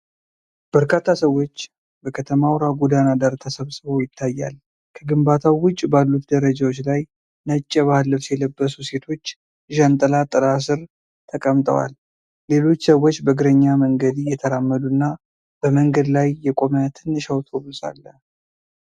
በርካታ ሰዎች በከተማ አውራ ጎዳና ዳር ተሰብስበው ይታያል። ከግንባታው ውጭ ባሉት ደረጃዎች ላይ፣ ነጭ የባህል ልብስ የለበሱ ሴቶች ዣንጥላ ጥላ ስር ተቀምጠዋል። ሌሎች ሰዎች በእግረኛ መንገድ እየተራመዱ እና በመንገድ ላይ የቆመ ትንሽ አውቶቡስ አለ።